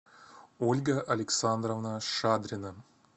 ольга александровна шадрина